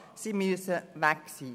sie müssen dann weg sein.